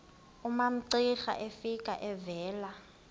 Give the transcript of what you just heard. umamcira efika evela